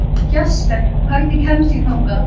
Jesper, hvernig kemst ég þangað?